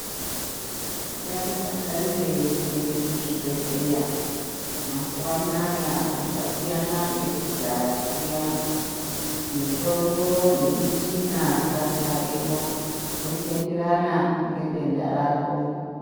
Ngatidakarirei kuenda kuzvibhehleya mazuwa anaya zvasiyana nekudhaya kuyani. Mitombo nemichina zvadzareyo, zvochienderana nedenda rako.